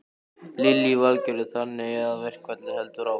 Lillý Valgerður: Þannig að verkfallið heldur áfram?